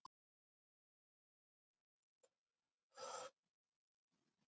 Maður finnur fyrir meiri áhuga hjá fjölmiðlum og almenningi.